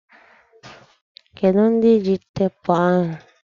Kedụ ndị ji teepu ahụ?